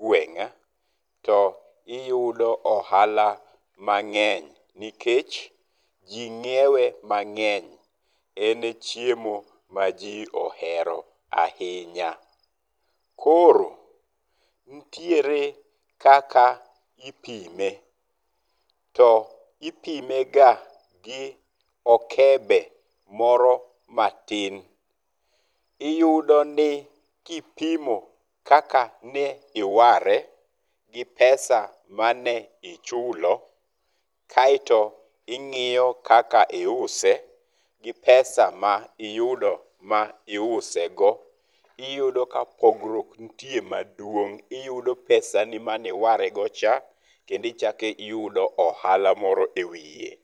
gweng', to iyudo ohala mang'eny nikech ji ng'iewe mang'eny. En e chiemo ma ji ohero ahinya. Koro nitiere kaka ipime. To ipime ga gi okebe moro matin. Iyudo ni kipimo kaka ne iware gi pesa mane uchulo kaeto ing'iyo kaka iuse gi pesa ma iyudo ma iusego, iyudo ka pogruok nitie maduong'. Iyudo pesani mane iwarego cha kendo ichakiyudo ohala moro ewiye.